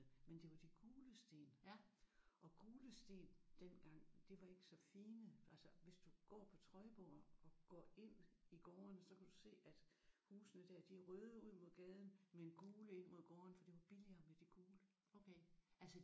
Men de var de gule sten og gule sten dengang de var ikke så fine. Altså hvis du går på Trøjborg og går ind i gårdene så kan du se at husene der de er røde ind mod gaden men gule ind mod gårdene for det var billigere med de gule